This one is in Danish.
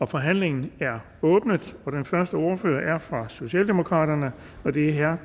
forhandlingen er åbnet og den første ordfører er fra socialdemokraterne og det er herre